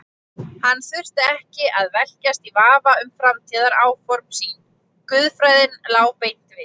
Hann þurfti ekki að velkjast í vafa um framtíðaráform sín, guðfræðin lá beint við.